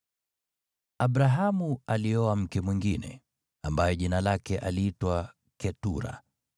Abrahamu alioa mke mwingine, ambaye jina lake aliitwa Ketura.